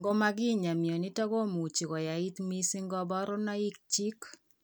Ngomakinya mionitok komuchi koyait mising kaborunoik chik